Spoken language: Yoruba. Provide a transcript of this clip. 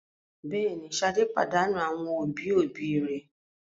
Bẹ́ẹ̀ ni, Ṣadé pàdánù àwọn òbí-òbí rẹ̀.